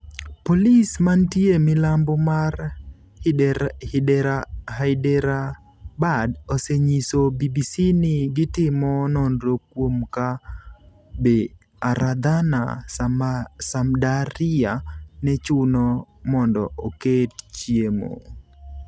Polis mantie milambo mar Hyderabad osenyiso BBC ni gitimo nonro kuom ka be Aradhana Samdariya ne chuno mondo oket chiemo.